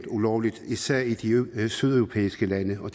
ulovligt især i de sydeuropæiske lande og